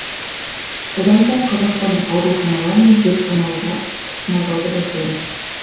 содан соң қазақстандық ауруханалар мен зертханаларға тасымалдауды бастаймыз